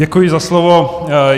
Děkuji za slovo.